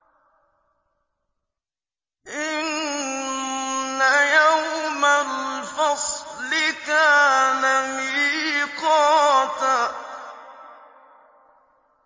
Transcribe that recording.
إِنَّ يَوْمَ الْفَصْلِ كَانَ مِيقَاتًا